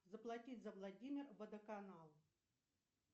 заплатить за владимир водоканал